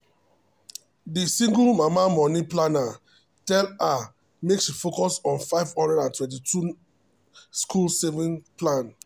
the single mama money planner tell her make she focus on 529 school saving plan.